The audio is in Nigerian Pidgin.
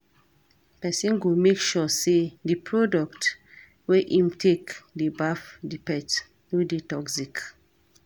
Person go make sure sey di product wey im take dey baff di pet no dey toxic